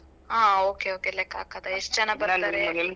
ಹಾ ok ok ಲೆಕ್ಕಾ ಹಾಕೋದಾ ಎಷ್ಟ್ ಜನ